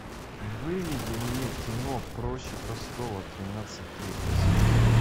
выведи мне кино проще простого тринадцатый эпизод